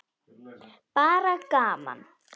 Bara gaman.